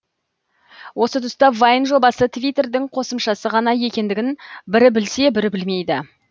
осы тұста вайн жобасы твиттердің қосымшасы ғана екендігін бірі білсе бірі білмейді